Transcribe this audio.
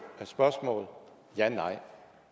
spørgsmål om ja eller nej